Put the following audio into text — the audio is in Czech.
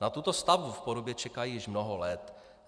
Na tuto stavbu v Porubě čekají již mnoho let.